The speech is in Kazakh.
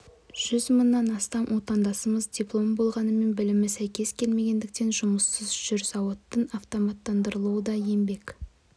жүз мыңнан астам отандасымыз дипломы болғанымен білімі сәйкес келмегендіктен жұмыссыз жүр зауыттардың автоматтандырылуы да еңбек